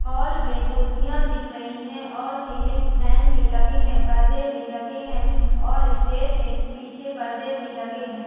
Hall में कुर्सियां दिख रही है और सीलिंग फैन भी लगे हैं पर्दे भी लगे हैं और स्टेज में पीछे परदे भी लगे हैं।